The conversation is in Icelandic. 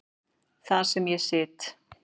Þar sem ég sit.